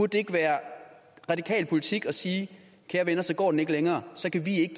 det ikke være radikal politik at sige kære venner så går den ikke længere så kan vi ikke